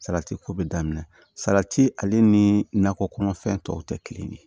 Salati ko bɛ daminɛ salati ale ni nakɔ kɔnɔfɛn tɔw tɛ kelen ye